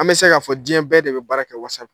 An bɛ se k'a fɔ diɲɛ bɛɛ de be baara kɛ Whatsapp